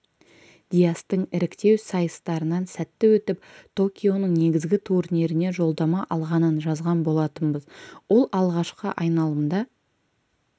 диястың іріктеу сайыстарынан сәтті өтіп токионың негізгі турниріне жолдама алғанын жазған болатынбыз ол алғашқы айналымда